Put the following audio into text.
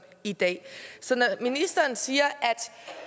i dag ministeren siger